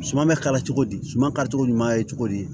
Suman bɛ kala cogo di suman kari cogo ɲuman ye cogo di